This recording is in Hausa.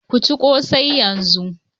Ku ci kose yanzu.